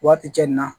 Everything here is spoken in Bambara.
Waati cɛ nin na